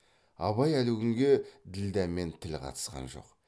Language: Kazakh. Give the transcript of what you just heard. абай әлі күнге ділдә мен тіл қатысқан жоқ